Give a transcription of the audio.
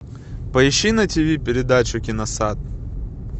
поищи на тв передачу киносад